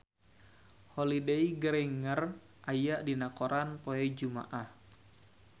Holliday Grainger aya dina koran poe Jumaah